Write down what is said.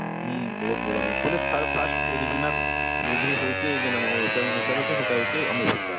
ହୁଁ ବହୁତ ବଢିଆ movie ବଇଲେ third first regional movie ହଉଛେ ଜେନ ଆମର ଓଡିଆସ ନଟନେଲ ହେଟା ହଉଛେ ଆମର ଭୁକା,